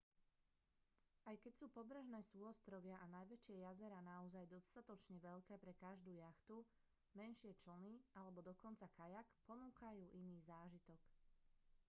aj keď sú pobrežné súostrovia a najväčšie jazerá naozaj dostatočne veľké pre každú jachtu menšie člny alebo dokonca kajak ponúkajú iný zážitok